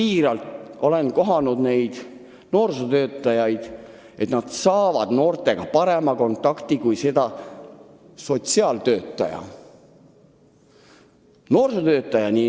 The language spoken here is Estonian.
Ma olen kohanud noorsootöötajaid, kes saavad noortega parema kontakti kui sotsiaaltöötajad.